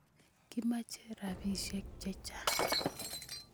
Kimache rapisyek che chang'